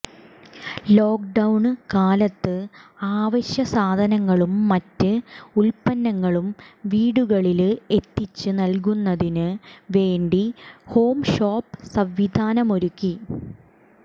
ലോക്ഡൌണ്കാലത്ത് അവശ്യ സാധനങ്ങളും മറ്റ് ഉല്പ്പന്നങ്ങളും വീടുകളില് എത്തിച്ച് നല്കുന്നതിന് വേണ്ടി ഹോംഷോപ്പ് സംവിധാനമൊരുക്കി